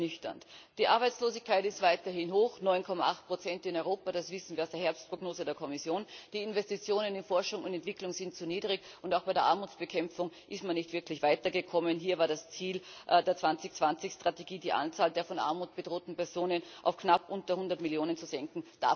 2020 ernüchternd ist Die Arbeitslosigkeit ist weiterhin hoch 9,8 in Europa, das wissen wir aus der Herbstprognose der Kommission die Investitionen in Forschung und Entwicklung sind zu niedrig und auch bei der Armutsbekämpfung ist man nicht wirklich weitergekommen, hier war das Ziel der 2020 Strategie, die Anzahl der von Armut bedrohten Personen auf knapp unter 100 Millionen zu senken.